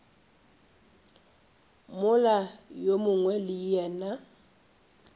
mola yo mongwe le yena